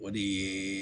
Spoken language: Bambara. O de ye